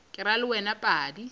ke ra le wena padi